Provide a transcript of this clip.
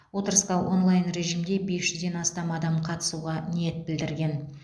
отырысқа онлайн режимде бес жүзден астам адам қатысуға ниет білдірген